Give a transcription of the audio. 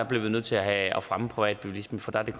bliver vi nødt til at at fremme privatbilismen for der er